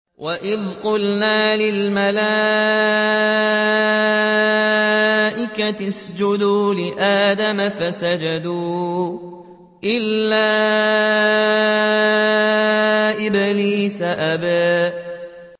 وَإِذْ قُلْنَا لِلْمَلَائِكَةِ اسْجُدُوا لِآدَمَ فَسَجَدُوا إِلَّا إِبْلِيسَ أَبَىٰ